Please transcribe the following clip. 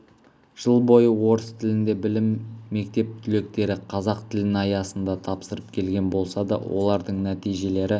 жыл бойы орыс тілінде білім мектеп түлектері қазақ тілін аясында тапсырып келген болса да олардың нәтижелері